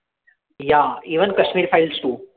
yeah even kashmir files to